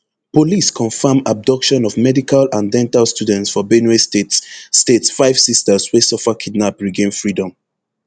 police confam abduction of medical and dental students for benue state state five sisters wey suffer kidnap regain freedom